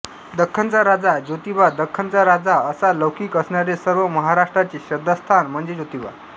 दख्खनचा राजा ज्योतिबा दख्खनचा राजा असा लौकिक असणारे सर्व महाराष्ट्राचे श्रद्धास्थान म्हणजे ज्योतिबा